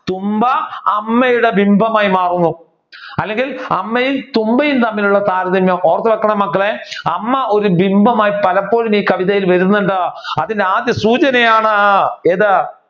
തുമ്പ അമ്മയുടെ ബിംബമായി മാറുന്നു. അല്ലെങ്കിൽ അമ്മയും തുമ്പയും തമ്മിൽ ഉള്ള താരതമ്യം. ഓർത്തുവെക്കണം മക്കളെ അമ്മ ഒരു ബിംബമായി പലപ്പോഴും ഈ കവിതയിൽ വരുന്നുണ്ട്. അതിനാദ്യസൂചനയാണ് ഏത്